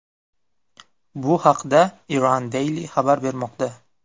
Bu haqda Iran Daily xabar bermoqda .